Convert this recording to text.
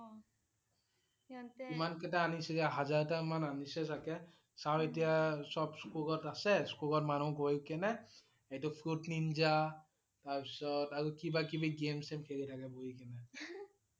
অনিছিলে হাজাৰটা মান আনিছে চাগে । ছাৰ এতিয়া সব স্কুলত আছে, স্কুলত মানুহ গৈ কেনে এইটো fruit ninja তাৰ পিছত আৰু কিবা কিবি game-same খেলি থাকে বহি কেনে